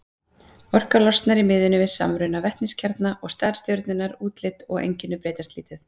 Orka losnar í miðjunni við samruna vetniskjarna, og stærð stjörnunnar, útlit og einkenni breytast lítið.